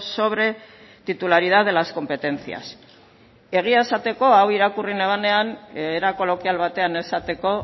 sobre titularidad de las competencias egia izateko hau irakurri nebanean era kolokial batean esateko